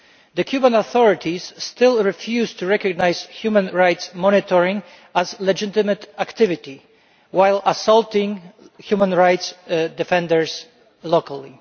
The Cuban authorities still refuse to recognise human rights monitoring as a legitimate activity while assaulting human rights defenders locally.